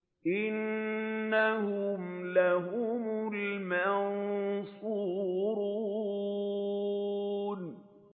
إِنَّهُمْ لَهُمُ الْمَنصُورُونَ